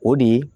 O de ye